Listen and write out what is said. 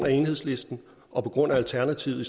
af enhedslisten og alternativet